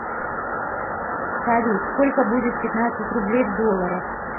салют сколько будет пятнадцать рублей в долларах